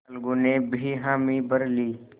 अलगू ने भी हामी भर ली